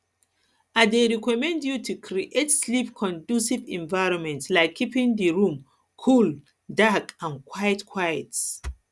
i dey recommend you to create sleepconducive environment like keeping di room cool dark and quiet quiet